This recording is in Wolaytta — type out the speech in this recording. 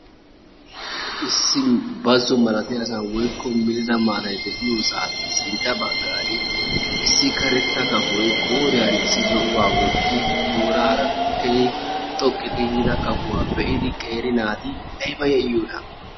issi bazzo malattiyasan woykko melida maattay de'iyosan sintta bagaani issi karetta kafoy qooriyani issi zo'uwa wottidi doonaara keehi xoqqu ga kafuwa be'idi qeeri naati aybba yayiyoonaa